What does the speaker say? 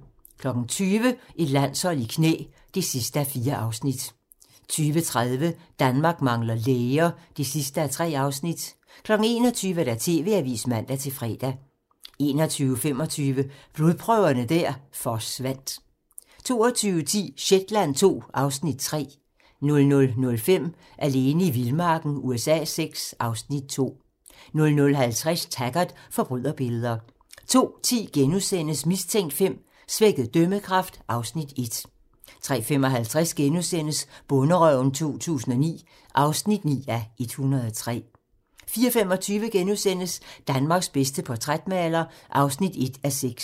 20:00: Et landshold i knæ (4:4) 20:30: Danmark mangler læger (3:3) 21:00: TV-avisen (man-fre) 21:25: Blodprøverne der forsvandt 22:10: Shetland II (Afs. 3) 00:05: Alene i vildmarken USA VI (Afs. 2) 00:50: Taggart: Forbryderbilleder 02:10: Mistænkt V: Svækket dømmekraft (Afs. 1)* 03:55: Bonderøven 2009 (9:103)* 04:25: Danmarks bedste portrætmaler (1:6)*